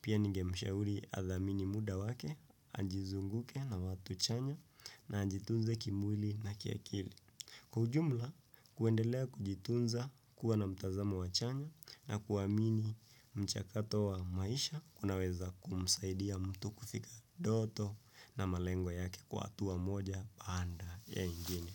Pia ninge mshauri adhamini muda wake, ajizunguke na watu chanya na ajitunze kimwili na kiakili. Kujumla, kuendelea kujitunza kuwa na mtazama wa chanya na kuwamini mchakato wa maisha kunaweza kumsaidia mtu kufika doto na malengwa yake kwa hatua moja baada ya ingini.